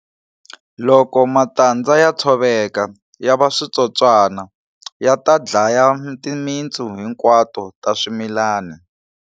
Loko matandza ya tshoveka yava switsotswana, yata dlaya timintsu hinkwato ta swimilani.